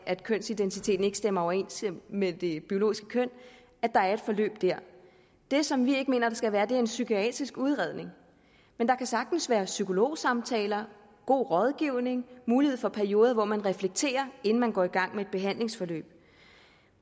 af at kønsidentiteten ikke stemmer overens med det biologiske køn er et forløb det som vi ikke mener der skal være er en psykiatrisk udredning men der kan sagtens være psykologsamtaler god rådgivning mulighed for perioder hvor man reflekterer inden man går i gang med et behandlingsforløb